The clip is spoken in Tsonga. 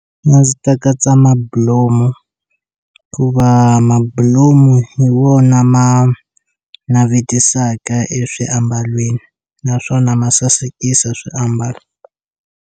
A ndzi ta katsa mabulomu ku va mabulomu hi wona ma navetisaka eswiambalweni naswona ma sasekisa swi ambalo.